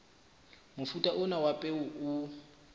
mofuta ona wa peo o